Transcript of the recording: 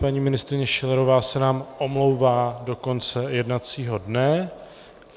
Paní ministryně Schillerová se nám omlouvá do konce jednacího dne.